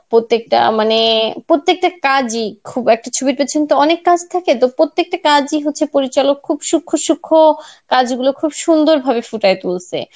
প্রত্যেকটা মানে প্রত্যেকটা কাজই খুব একটা ছবির পিছন তো অনেক কাজ থাকে তো প্রত্যেকটা কাজই হচ্ছে পরিচালক খুব সুক্ষ সুক্ষ কাজগুলো খুব সুন্দর ভাবে ফুটায়ে তুলসে.